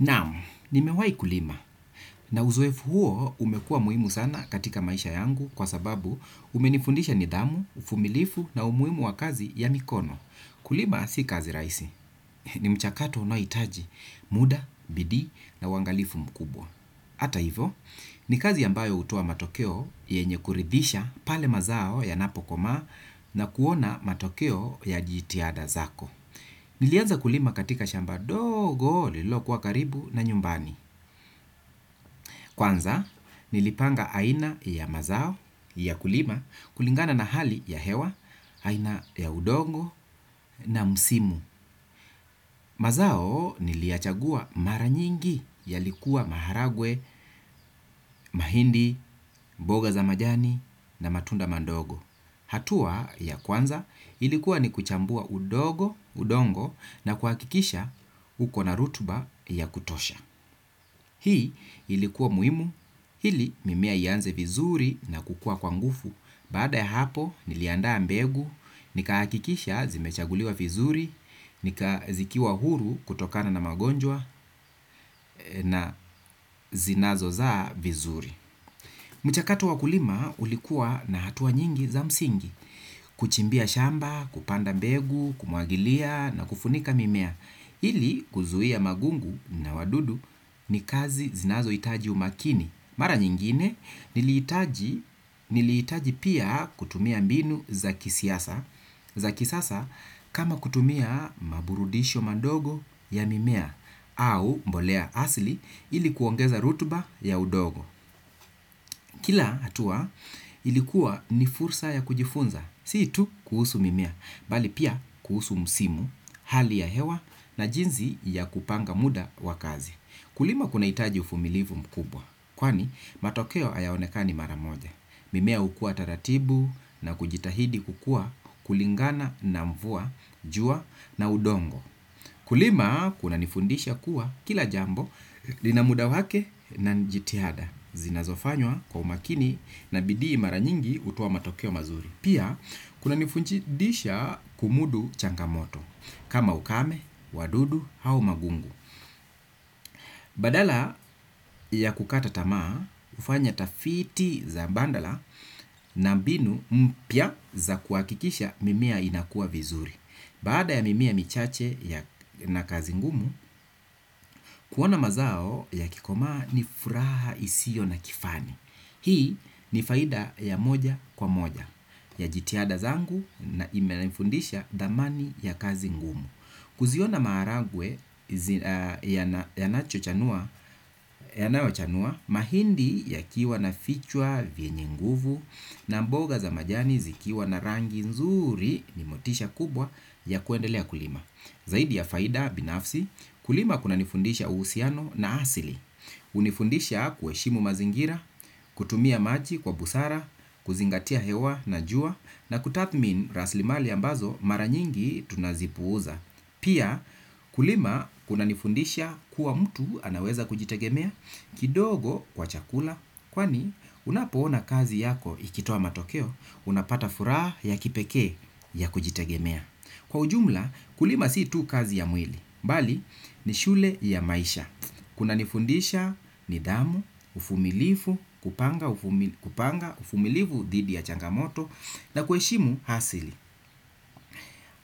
Naam, nimewai kulima. Na uzoefu huo umekuwa muhimu sana katika maisha yangu kwa sababu umenifundisha nidhamu, uvumilivu na umuhimu wa kazi ya mikono. Kulima si kazi rahisi. Ni mchakato unaohitaji muda, bidii na uangalifu mkubwa. Hata hivo, ni kazi ambayo hutoa matokeo yenye kuridhisha pale mazao yanapokomaa na kuona matokeo ya jitihada zako. Nilianza kulima katika shamba dogo lililo kuwa karibu na nyumbani. Kwanza nilipanga aina ya mazao ya kulima kulingana na hali ya hewa, aina ya udongo na msimu. Mazao niliyachagua mara nyingi yalikuwa maharagwe, mahindi, mboga za majani na matunda mandogo. Hatua ya kwanza ilikuwa ni kuchambua udongo na kuhakikisha uko na rutuba ya kutosha. Hii ilikuwa muhimu, ili mimea ianze vizuri na kukua kwa nguvu. Baada ya hapo niliandaa mbegu, nikahakikisha zimechaguliwa vizuri, zikiwa huru kutokana na magonjwa na zinazozaa vizuri. Mchakato wa kulima ulikuwa na hatua nyingi za msingi. Kuchimbia shamba, kupanda mbegu, kumwagilia na kufunika mimea. Ili kuzuia magugu na wadudu ni kazi zinazohitaji umakini. Mara nyingine nilihitaji pia kutumia mbinu za kisiasa. Za kisasa kama kutumia maburudisho madogo ya mimea au mbolea asili ili kuongeza rutuba ya udongo. Kila hatua ilikuwa ni fursa ya kujifunza, si tu kuhusu mimea, bali pia kuhusu msimu, hali ya hewa na jinsi ya kupanga muda wa kazi. Kulima kunahitaji uvumilivu mkubwa, kwani matokeo hayaonekani mara moja. Mimea hukua taratibu na kujitahidi kukua kulingana na mvua, jua na udongo. Kulima kunanifundisha kuwa kila jambo lina muda wake na ni jitihada zinazofanywa kwa umakini na bidii mara nyingi hutoa matokeo mazuri. Pia kunanifundisha kumudu changamoto kama ukame, wadudu, au magugu. Badala ya kukata tamaa, hufanya tafiti za badala na mbinu mpya za kuhakikisha mimea inakuwa vizuri. Baada ya mimea michache na kazi ngumu, kuona mazao yakikomaa ni furaha isio na kifani. Hii ni faida ya moja kwa moja ya jitihada zangu na imenifundisha dhamani ya kazi ngumu. Kuziona maharagwe yanayochanua mahindi yakiwa na vichwa vyenye nguvu na mboga za majani zikiwa na rangi nzuri ni motisha kubwa ya kuendelea kulima. Zaidi ya faida binafsi, kulima kunanifundisha uhusiano na asili. Hunifundisha kuheshimu mazingira, kutumia maji kwa busara, kuzingatia hewa na jua na kutathmin rasilimali ambazo mara nyingi tunazipuuza. Pia kulima kuna nifundisha kuwa mtu anaweza kujitegemea kidogo kwa chakula kwani unapoona kazi yako ikitoa matokeo unapata furaha ya kipekee ya kujitegemea. Kwa ujumla kulima si tu kazi ya mwili. Bali ni shule ya maisha. Kunanifundisha nidhamu, uvumilivu, kupanga, uvumilivu dhidi ya changamoto na kuheshimu hasili.